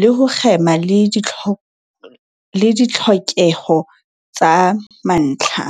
le ho kgema le ditlhokeho tsa mantlha.